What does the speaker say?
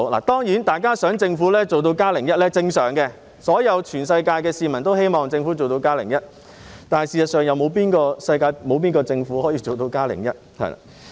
當然，大家希望政府做到"加零一"是正常的，世界上所有人民都希望政府可以做到"加零一"，但事實上，有哪個政府可以做到"加零一"？